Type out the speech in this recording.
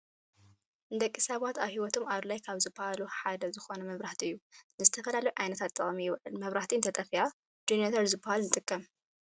ንደቂ ሰባት ኣብሂወቶም ኣድላይ ካብ ዝብሃሉ ሓደ ዝኮነ መብራህቲ እዩ። ንዝተፈላለዩ ዓይነታት ጥቅሚ ይውዕል መብራህቲ እንተጠፊኣ ጀነነተር ዝብሃል ንጥቀም ።